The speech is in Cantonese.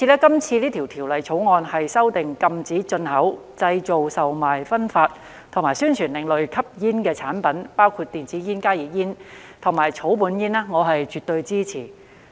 因此，《條例草案》禁止進口、製造、售賣、分發及宣傳另類吸煙產品，包括電子煙、加熱煙產品和草本煙，我是絕對支持的。